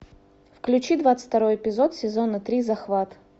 включи двадцать второй эпизод сезона три захват